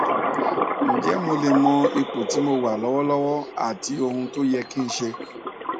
ǹjẹ mo lè mọ ipò tí mo wà lọwọlọwọ àti ohun tó yẹ kí n ṣe